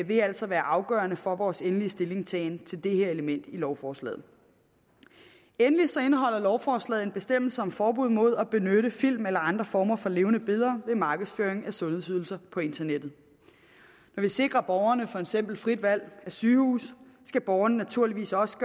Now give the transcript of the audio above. vil altså være afgørende for vores endelige stillingtagen til det her element i lovforslaget endelig så indeholder lovforslaget en bestemmelse om forbud mod at benytte film eller andre former for levende billeder ved markedsføring af sundhedsydelser på internettet når vi sikrer borgerne for eksempel frit valg af sygehus skal borgerne naturligvis også